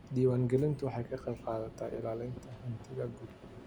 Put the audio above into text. Diiwaangelintu waxay ka qayb qaadanaysaa ilaalinta hantida guud.